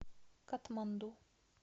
катманду